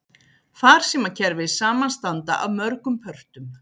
Farsímakerfi samanstanda af mörgum pörtum.